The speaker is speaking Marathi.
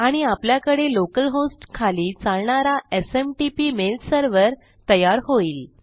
आणि आपल्याकडे लोकल होस्ट खाली चालणारा एसएमटीपी मेल सर्व्हर तयार होईल